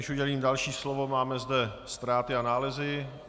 Než udělím další slovo, máme zde ztráty a nálezy.